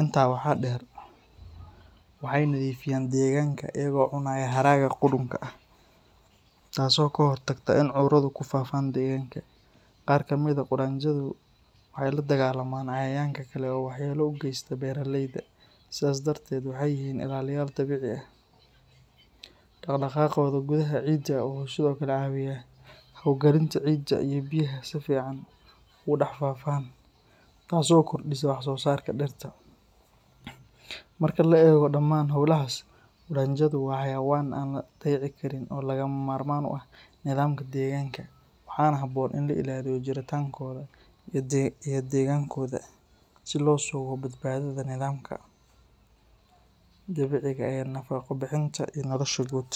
Intaa waxaa dheer, waxay nadiifiyaan deegaanka iyagoo cunaya haraaga qudhunka ah, taas oo ka hortagta in cuduradu ku faafoon deegaanka. Qaar ka mid ah qudhanjadu waxay la dagaallamaan cayayaanka kale oo waxyeelo u geysta beeralayda, sidaas darteed waxay yihiin ilaaliyaal dabiici ah. Dhaqdhaqaaqooda gudaha ciidda wuxuu sidoo kale caawiyaa hawo gelinta ciidda iyo biyaha si fiican ugu dhex faafaan, taas oo kordhisa wax-soosaarka dhirta. Marka la eego dhammaan hawlahaas, qudhanjadu waa xayawaan aan la dayici karin oo lagama maarmaan u ah nidaamka deegaanka, waxaana habboon in la ilaaliyo jiritaankooda iyo deegaanadooda si loo sugo badbaadada nidaamka dabiiciga ah ee nafaqo bixinta iyo nolosha guud.